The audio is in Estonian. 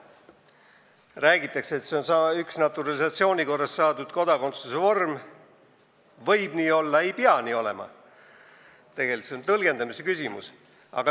Räägitakse, et see on üks naturalisatsiooni korras saadud kodakondsuse vorm – nii võib olla, kuid nii ei pea olema, see on tegelikult tõlgendamise küsimus.